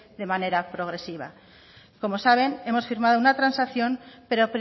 de manera progresiva como saben hemos firmado una transacción pero